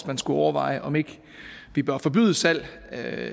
man skulle overveje om ikke vi bør forbyde salg af